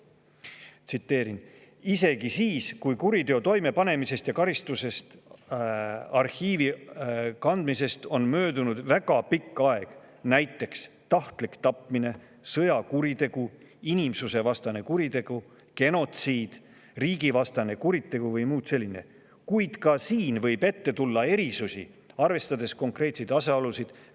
isegi siis, kui kuriteo toimepanemisest ja karistuse arhiivi kandmisest on möödunud väga pikk aeg, olgu see näiteks tahtlik tapmine, sõjakuritegu, inimsusevastane kuritegu, genotsiid, riigivastane kuritegu või muu selline, võib ette tulla erisusi, arvestades konkreetseid asjaolusid.